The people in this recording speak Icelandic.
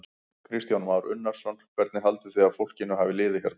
Kristján Már Unnarsson: Hvernig haldið þið að fólkinu hafi liðið hérna?